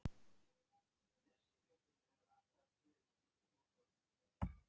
Síðan hafa mörg önnur geimför flogið framhjá og jafnvel lent.